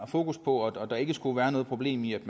fokus på og at der ikke skulle være noget problem i at